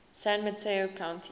san mateo county